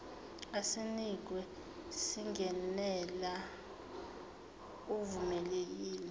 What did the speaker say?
osinikiwe singenela uvumelekile